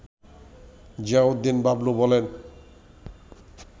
জিয়াউদ্দিন বাবলু বলেন